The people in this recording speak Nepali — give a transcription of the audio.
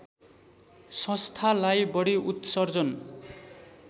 संस्थालाई बढी उत्सर्जन